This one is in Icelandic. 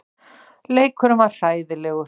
Leikurinn var hræðilegur.